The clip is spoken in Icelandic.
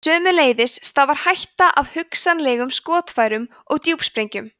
sömuleiðis stafar hætta af hugsanlegum skotfærum og djúpsprengjum